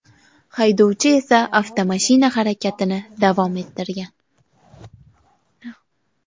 Haydovchi esa avtomashina harakatini davom ettirgan.